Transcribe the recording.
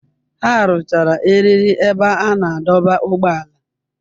Ha rụchara eriri ebe a na-adọba ụgbọala.